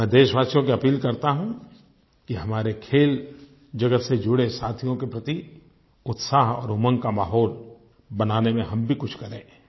मैं देशवासियों से अपील करता हूँ कि हमारे खेल जगत से जुड़े साथियों के प्रति उत्साह और उमंग का माहौल बनाने में हम भी कुछ करें